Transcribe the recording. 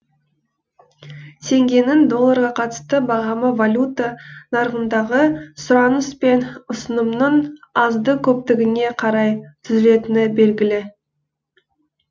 теңгенің долларға қатысты бағамы валюта нарығындағы сұраныс пен ұсынымның азды көптігіне қарай түзелетіні белгілі